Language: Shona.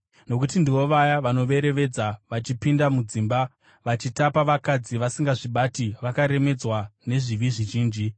Nokuti ndivo vaya vanoverevedza vachipinda mudzimba vachitapa vakadzi vasingazvibati vakaremedzwa nezvivi zvizhinji,